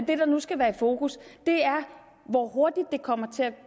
det der nu skal være i fokus er hvor hurtigt det kommer til at